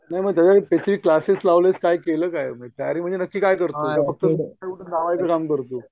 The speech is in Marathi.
नाही मग त्याचं क्लासेस लावलं केलं काय म्हणजे तयारी म्हणजे नक्की काय करतोय आता तू?